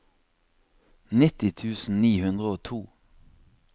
nitti tusen ni hundre og to